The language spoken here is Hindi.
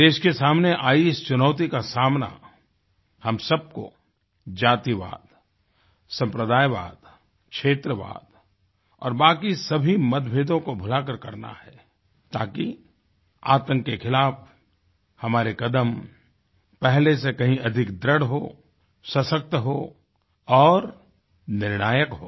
देश के सामने आयी इस चुनौती का सामनाहम सबको जातिवाद सम्प्रदायवाद क्षेत्रवाद और बाकिसभी मतभेदों को भुलाकर करना है ताकि आतंक के खिलाफ़ हमारे कदम पहले से कहीं अधिक दृढ़ हों सशक्त हों और निर्णायक हों